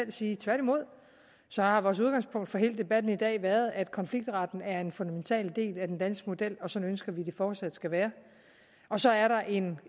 sige tværtimod har vores udgangspunkt for hele debatten i dag været at konfliktretten er en fundamental del af den danske model og sådan ønsker vi at det fortsat skal være så er der en